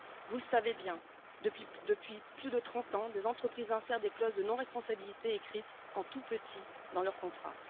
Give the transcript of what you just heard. Vous le savez bien depuis plus de 30 ans, les entreprises insèrent des clauses de non responsabilité écrites en tout petit dans leur contrat.